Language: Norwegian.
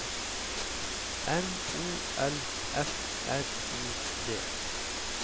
M O L F R I D